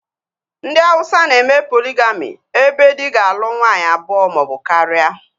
Ndị Hauwsa na-eme poligami ebe dị ga-alụ nwaanyị abụọ maọbụ karịa